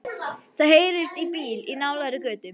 Það heyrist í bíl í nálægri götu.